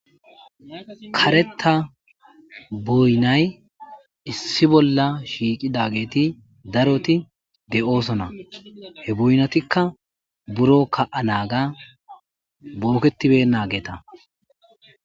kareta boynay issi bolla shiiqidageeti daroti de7oosona he boynatikka buro ka7a naaga booketibe naageta